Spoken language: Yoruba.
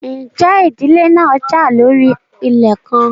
Ǹjẹ́ ìdílé náà jà lórí ilẹ̀ kan?